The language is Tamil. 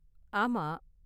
ஆமா.